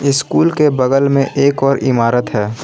School के बगल में एक और इमारत है।